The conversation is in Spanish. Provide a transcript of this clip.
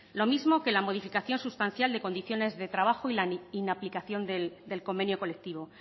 lo mismo que la modificación sustancial de condiciones de trabajo y la inaplicación del convenio colectivo